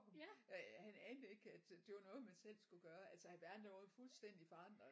Han anede ikke at det var noget man selv skulle gøre altså verden den var jo fuldstændigt forandret